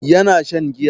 Yana shan giya.